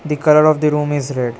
The colour of the room is red.